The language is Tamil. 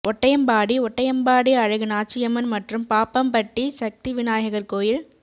ஒட்டயம்பாடி ஒட்டயம்பாடி அழகு நாச்சியம்மன் மற்றும் பாப்பம் பட்டி சக்திவிநாயகர் கோயில்